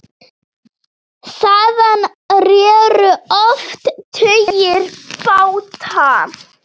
Þaðan réru oft tugir báta.